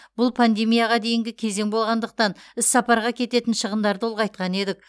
бұл пандемияға дейінгі кезең болғандықтан іссапарға кететін шығындарды ұлғайтқан едік